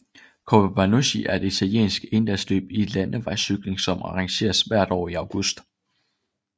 Coppa Bernocchi er et italiensk endagsløb i landevejscykling som arrangeres hvert år i august